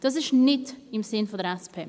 Dies ist nicht im Sinn der SP.